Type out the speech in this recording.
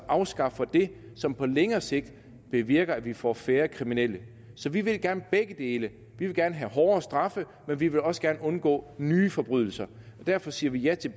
afskaffer det som på længere sigt bevirker at vi får færre kriminelle vi vil gerne begge dele vi vil gerne have hårdere straffe men vi vil også gerne undgå nye forbrydelser derfor siger vi ja til